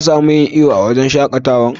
Ka samu yin iyo a'wurin shakatawan?